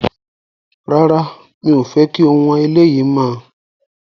Rárá, mi ò fẹ́ kí o wọn eléyìí mọ́